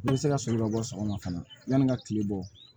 Ne bɛ se ka sɔrɔ ka bɔ sɔgɔma fana yanni n ka tile bɔ